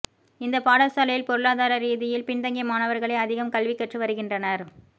இந்த பாடசாலையில் பொருளாதாரரீதியில் பின்தங்கிய மாணவர்களே அதிகம் கல்வி கற்று வருகின்றனர்